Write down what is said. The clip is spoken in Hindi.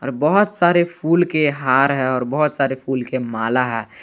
बहुत सारे फूल के हार हैं और बहुत सारे फूल के माला है।